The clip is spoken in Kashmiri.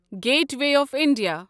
gateway of India